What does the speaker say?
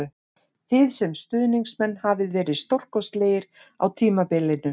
Þið sem stuðningsmenn hafið verið stórkostlegir á tímabilinu